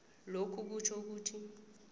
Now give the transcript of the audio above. lokhu kutjho ukuthi